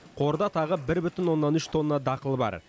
қорда тағы бір бүтін оннан үш тонна дақыл бар